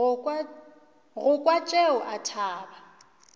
go kwa tšeo a thaba